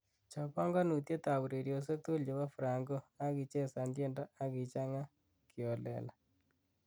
chob panganutiet ab ureryosiek tugul chebo franco ak ichezan tiendo ukichanga kiholela